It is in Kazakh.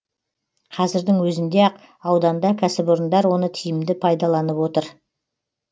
қазірдің өзінде ақ ауданда кәсіпорындар оны тиімді пайдаланып отыр